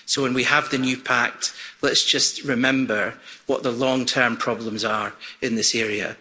So when we have the new pact, let's just remember what the long term problems are in this area.